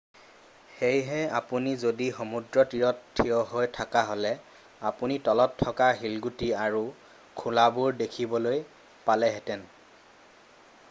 সেয়ে আপুনি যদি সমুদ্ৰতীৰত থিয় হৈ থকাহ'লে আপুনি তলত থকা শিলগুটি আৰু খোলাবোৰ দেখিবলৈ পালেহেঁতেন